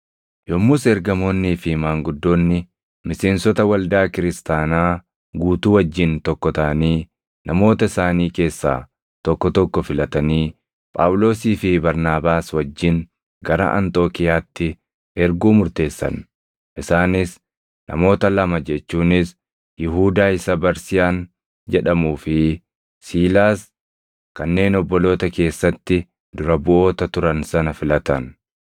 Yommus ergamoonnii fi maanguddoonni miseensota waldaa kiristaanaa guutuu wajjin tokko taʼanii namoota isaanii keessaa tokko tokko filatanii Phaawulosii fi Barnaabaas wajjin gara Anxookiiyaatti erguu murteessan; isaanis namoota lama jechuunis Yihuudaa isa Barsiyaan jedhamuu fi Siilaas kanneen obboloota keessatti dura buʼoota turan sana filatan.